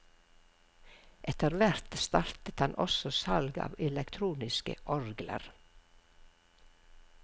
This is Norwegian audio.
Etter hvert startet han også salg av elektroniske orgler.